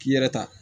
K'i yɛrɛ ta